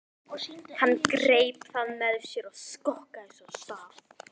Hann greip það með sér og skokkaði svo af stað.